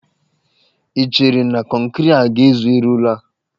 I cheere na kọnkịrị a ga-ezu irụ ụlọ a?